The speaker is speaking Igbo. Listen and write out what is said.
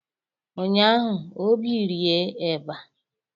Ụnyaahụ obi rie eba